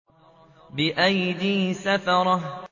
بِأَيْدِي سَفَرَةٍ